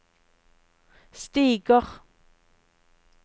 stiger